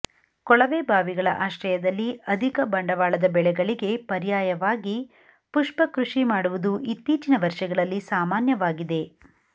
ಕೊಳವೆ ಬಾವಿಗಳ ಆಶ್ರಯದಲ್ಲಿ ಅಧಿಕ ಬಂಡವಾಳದ ಬೆಳೆಗಳಿಗೆ ಪರ್ಯಾಯವಾಗಿ ಪುಷ್ಪ ಕೃಷಿ ಮಾಡುವುದು ಇತ್ತೀಚಿನ ವರ್ಷಗಳಲ್ಲಿ ಸಾಮಾನ್ಯವಾಗಿದೆ